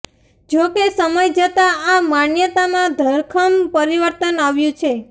જો કે સમય જતાં આ માન્યતામાં ધરખમ પરિવર્તન આવ્યું છે